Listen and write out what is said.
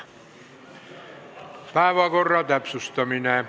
Päevakorra täpsustamine.